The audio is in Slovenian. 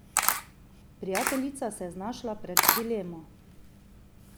Prijateljica se je znašla pred dilemo.